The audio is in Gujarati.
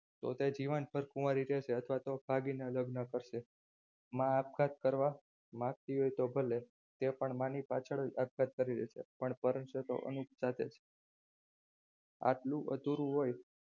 તો તે જીવનભર કુવારી રહેશે અથવા તો ભાગીને લગ્ન કરશે માં આપઘાત કરવા માગતી હોય તો ભલે તે પણ માની પાછળ જ આપઘાત કરી લેશે પણ છે તો અનુપમ સાથે જ આટલું અધૂરું હોય.